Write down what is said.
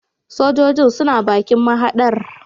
Sojojin suna bakin mahadar